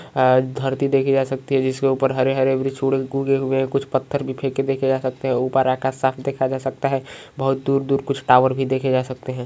अ धरती देखी जाती सकती हैं जिसके ऊपर हरे-हरे उगे हुए हैं कुछ पत्थर भी फेके देखे जा सकते हैं ऊपर आकाश साफ दिखाई दे रहा है बहुत दूर-दूर कुछ टॉवर भी देखे जा सकते हैं ।